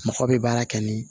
Mɔgɔ bɛ baara kɛ ni